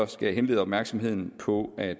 skal jeg henlede opmærksomheden på at